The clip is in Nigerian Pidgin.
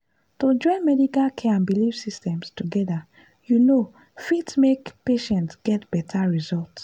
to join medical care and belief systems together you know fit make patients get better result.